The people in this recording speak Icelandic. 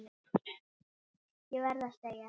Ég verð að segja það.